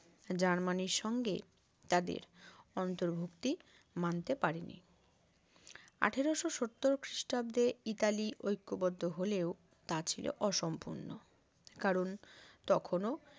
জার্মানির সঙ্গে তাদের অন্তুর্ভূক্তি মানতে পারে নি আঠারোশো সত্তর খ্রিস্টাব্দে ইতালি ঐকবদ্ধ হলেও তা ছিল অসম্পূর্ণ কারণ তখনও